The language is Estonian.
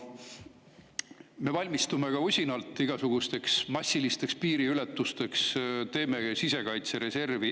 Me valmistume usinalt igasugusteks massilisteks piiriületusteks, teeme sisekaitsereservi.